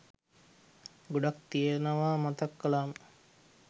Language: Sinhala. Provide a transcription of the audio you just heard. ගොඩක් තියෙනවා මතක් කලාම